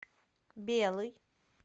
белый